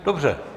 Dobře.